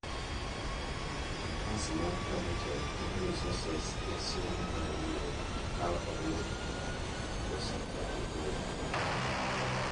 otas ma targeted keto resources ee somo mar nyiri( kaa oriw koso ka opogi)?